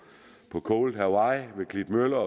cold hawaii ved klitmøller og